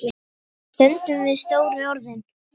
Við stöndum við stóru orðin.